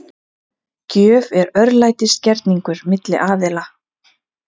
Gjöf er örlætisgerningur milli aðila.